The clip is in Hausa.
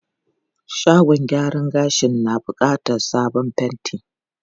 Shagon gyaran gashin na bukatar sabon fenti.